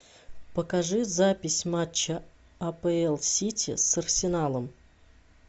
покажи запись матча апл сити с арсеналом